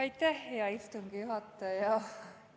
Aitäh, hea istungi juhataja!